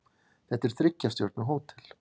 Þetta er þriggja stjörnu hótel.